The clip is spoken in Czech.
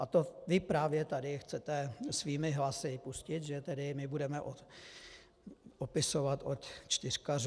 A to vy právě tady chcete svými hlasy pustit, že tedy my budeme opisovat od čtyřkařů.